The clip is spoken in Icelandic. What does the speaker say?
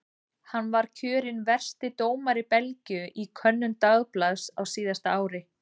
Hann var kjörinn versti dómari Belgíu í könnun dagblaðs á síðasta ári.